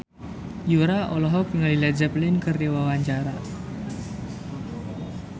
Yura olohok ningali Led Zeppelin keur diwawancara